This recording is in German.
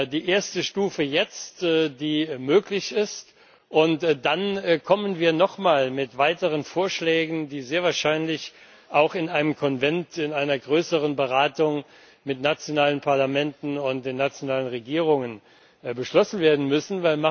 Die erste Stufe, die möglich ist, jetzt, und dann kommen wir nochmal mit weiteren Vorschlägen, die sehr wahrscheinlich auch in einem Konvent in einer größeren Beratung mit nationalen Parlamenten und den nationalen Regierungen beschlossen werden müssen.